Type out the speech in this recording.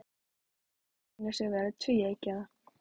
Sú hugmynd sýnir sig vera tvíeggjaða.